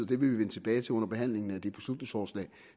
det vil vi vende tilbage til under behandlingen af det beslutningsforslag